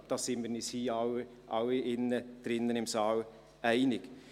Ich glaube, da sind wir uns hier drinnen alle einig.